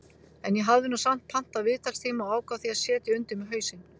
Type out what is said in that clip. En ég hafði nú samt pantað viðtalstíma og ákvað því að setja undir mig hausinn.